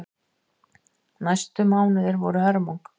Næstu mánuðir voru hörmung.